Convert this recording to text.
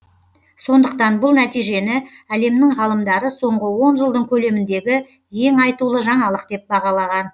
сондықтан бұл нәтижені әлемнің ғалымдары соңғы он жылдың көлеміндегі ең айтулы жаңалық деп бағалаған